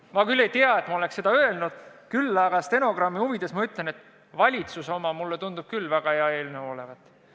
Ma küll ei tea, et ma oleks seda öelnud, aga stenogrammi huvides ütlen, et valitsuse oma tundub küll väga hea eelnõu olevat.